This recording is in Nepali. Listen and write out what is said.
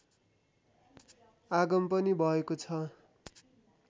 आगम पनि भएकोछ